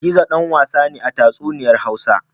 Gizo ɗan wasa ne a tatsuniyar Hausa.